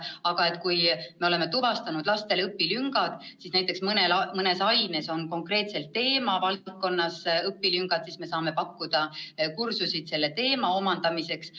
Aga kui me oleme tuvastanud lastel õpilüngad, näiteks kui mõnes aines on konkreetses teemavaldkonnas õpilüngad, siis me saame pakkuda kursusi selle teema omandamiseks.